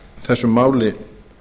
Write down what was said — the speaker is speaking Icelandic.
þessu máli